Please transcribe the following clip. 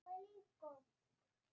Af hverju núna?